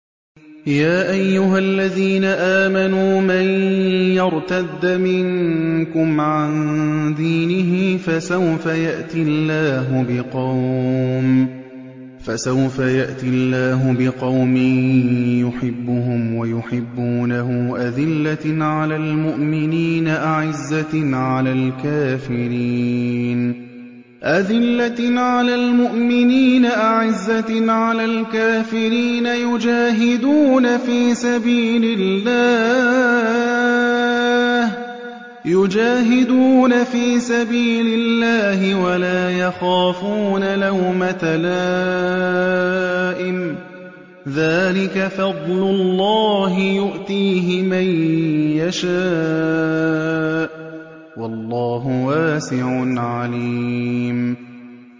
يَا أَيُّهَا الَّذِينَ آمَنُوا مَن يَرْتَدَّ مِنكُمْ عَن دِينِهِ فَسَوْفَ يَأْتِي اللَّهُ بِقَوْمٍ يُحِبُّهُمْ وَيُحِبُّونَهُ أَذِلَّةٍ عَلَى الْمُؤْمِنِينَ أَعِزَّةٍ عَلَى الْكَافِرِينَ يُجَاهِدُونَ فِي سَبِيلِ اللَّهِ وَلَا يَخَافُونَ لَوْمَةَ لَائِمٍ ۚ ذَٰلِكَ فَضْلُ اللَّهِ يُؤْتِيهِ مَن يَشَاءُ ۚ وَاللَّهُ وَاسِعٌ عَلِيمٌ